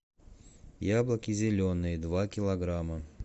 яблоки зеленые два килограмма